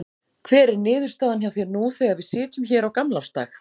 Hver er niðurstaðan hjá þér nú þegar við sitjum hér á gamlársdag?